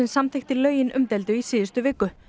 samþykkti lögin umdeildu í síðustu viku